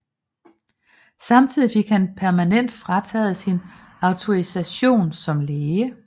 Samtidig fik han permanent frataget sin autorisation som læge